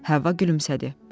Həvva gülümsədi.